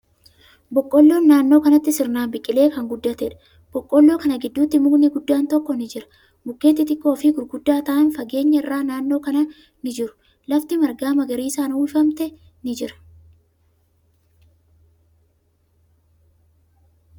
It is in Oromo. Boqqolloon naannoo kanatti sirnaan biqilee kan guddateedha. Boqqoolloo kana gidduu mukni guddaan tokko ni jira. Mukkeen xixiqqoo fi gurguddaa ta'an fageenya irraa naannoo kana ni jiru. Lafti marga magariisan uwwifamte ni jira.